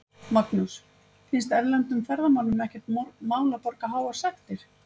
Magnús: Finnst erlendum ferðamönnum ekkert mál að borga háar sektir?